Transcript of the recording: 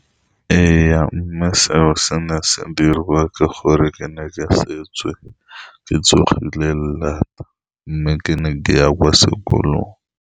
Ee, mme seo se ne sa diriwa ke gore ke ne ke setswe ke tsogile laat, mme ke ne ke ya kwa sekolong.